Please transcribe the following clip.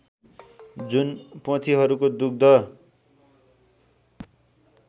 जुन पोथीहरूको दुग्ध